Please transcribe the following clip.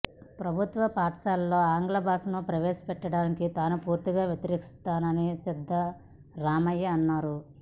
ప్రభుత్వ పాఠశాలల్లో ఆంగ్ల బాషను ప్రవేశ పెట్టడానికి తాను పూర్తిగా వ్యతిరేకిస్తానని సిద్దరామయ్య అన్నారు